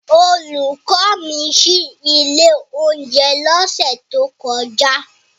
Olùkọ́ mi ṣí ilé oúnjẹ lọ́sẹ̀ tó kọjá.